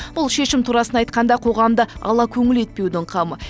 бұл шешім турасын айтқанда қоғамды алакөңіл етпеудің қамы